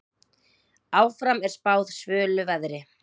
Áfram er spáð svölu veðri.